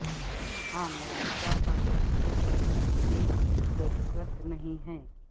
ہاں موجودہ حالات کے تحت کہ ضرورت نہیں ہے